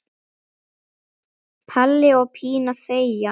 Palli og Pína þegja.